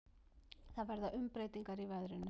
Það verða umbreytingar í veðrinu.